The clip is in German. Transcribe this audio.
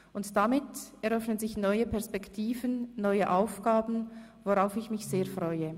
Und damit eröffnen sich neue Perspektiven, neue Aufgaben, worauf ich mich sehr freue.